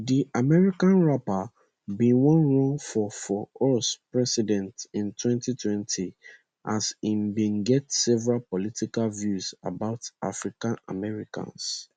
di american rapper bin wan run for for us president in 2020 as im bin get several political views about african americans